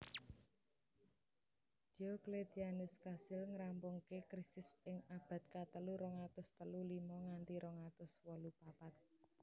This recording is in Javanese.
Diocletianus kasil ngrampungaké Krisis ing abad katelu rong atus telu limo nganti rong atus wolu papat